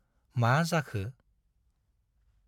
मा जाखो?